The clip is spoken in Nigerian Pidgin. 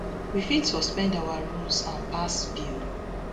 we fit suspend our rules and pass bill